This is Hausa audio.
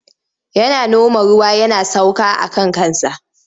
Yana noma ruwa yana sauka aka kansa.